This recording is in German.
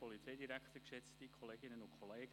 Kommissionspräsident der GPK.